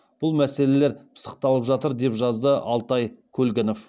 бұл мәселелер пысықталып жатыр деп жазды алтай көлгінов